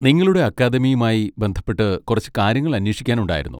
നിങ്ങളുടെ അക്കാദമിയുമായി ബന്ധപ്പെട്ട് കുറച്ച് കാര്യങ്ങൾ അന്വേഷിക്കാനുണ്ടായിരുന്നു.